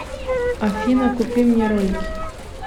афина купи мне ролики